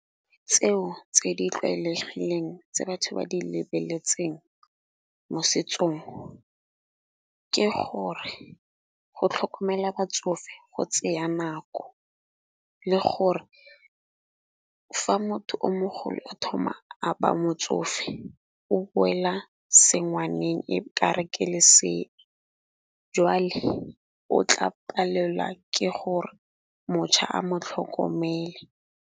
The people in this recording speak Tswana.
Tseo tse di tlwaelegileng tse batho ba di lebeletseng mo setsong, ke gore go tlhokomela batsofe go tseya nako. Le gore fa motho o mogolo o thoma a ba motsofe o boela se ngwaneng e kare ke lesea, jwale o tla palelwa ke gore motšha a mo tlhokomele.